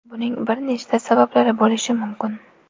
Buning bir nechta sabablari bo‘lishi mumkin.